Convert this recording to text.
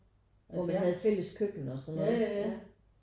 Altså jeg havde fælles køkken og sådan noget ja